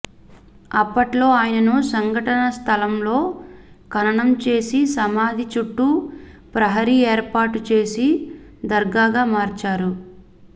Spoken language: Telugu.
అప్పట్లో ఆయనను సంఘటన స్థలంలో ఖననం చేసి సమాధి చుట్టూ ప్రహరీ ఏర్పాటు చేసి దర్గాగా మార్చారు